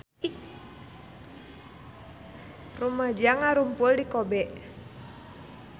Rumaja ngarumpul di Kobe